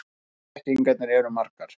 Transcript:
Blekkingarnar eru margar.